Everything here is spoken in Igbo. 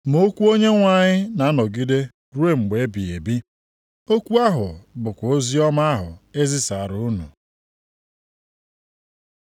ma okwu Onyenwe anyị na-anọgide ruo mgbe ebighị ebi.” + 1:25 \+xt Aịz 40:6-8\+xt* Okwu ahụ bụkwa oziọma ahụ e zisaara unu.